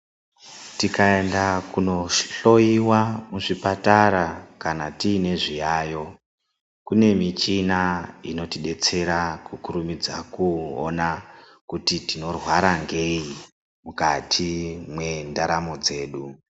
Tikaenda kunohloiwa muzvipatara kana tiine zviyayo. Kune michina inotibetsera kukurumidza kuona kuti tinorwara ngei mukati mendaramo dzedu.